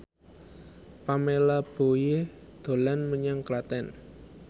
Pamela Bowie dolan menyang Klaten